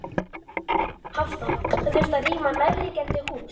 Hafþór: Það þurfti að rýma nærliggjandi hús?